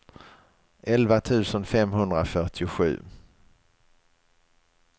elva tusen femhundrafyrtiosju